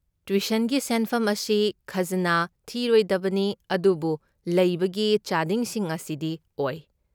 ꯇ꯭ꯌꯨꯁꯟꯒꯤ ꯁꯦꯟꯐꯝ ꯑꯁꯤ ꯈꯖꯅꯥ ꯊꯤꯔꯣꯏꯗꯕꯅꯤ, ꯑꯗꯨꯕꯨ ꯂꯩꯕꯒꯤ ꯆꯥꯗꯤꯡꯁꯤꯡ ꯑꯁꯤꯗꯤ ꯑꯣꯏ꯫